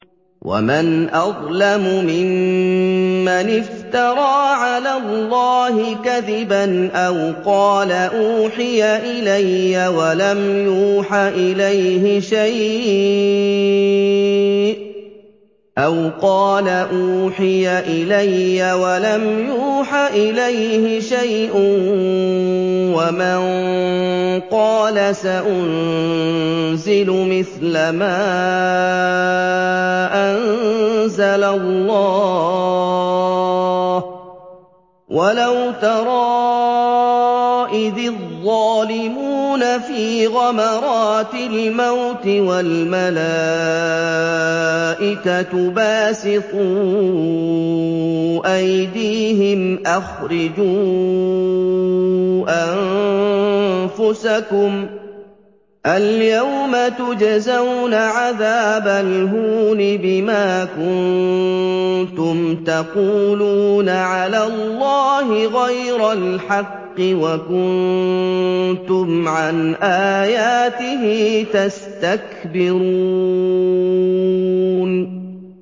وَمَنْ أَظْلَمُ مِمَّنِ افْتَرَىٰ عَلَى اللَّهِ كَذِبًا أَوْ قَالَ أُوحِيَ إِلَيَّ وَلَمْ يُوحَ إِلَيْهِ شَيْءٌ وَمَن قَالَ سَأُنزِلُ مِثْلَ مَا أَنزَلَ اللَّهُ ۗ وَلَوْ تَرَىٰ إِذِ الظَّالِمُونَ فِي غَمَرَاتِ الْمَوْتِ وَالْمَلَائِكَةُ بَاسِطُو أَيْدِيهِمْ أَخْرِجُوا أَنفُسَكُمُ ۖ الْيَوْمَ تُجْزَوْنَ عَذَابَ الْهُونِ بِمَا كُنتُمْ تَقُولُونَ عَلَى اللَّهِ غَيْرَ الْحَقِّ وَكُنتُمْ عَنْ آيَاتِهِ تَسْتَكْبِرُونَ